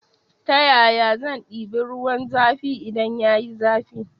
Ta yaya zan ɗiba ruwan zafi idan yayi zafi